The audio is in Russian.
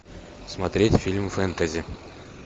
смотреть фильм фэнтези